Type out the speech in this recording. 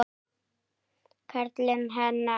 Karlinn hennar.